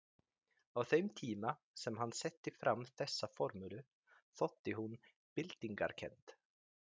Á þeim tíma sem hann setti fram þessa formúlu þótti hún byltingarkennd.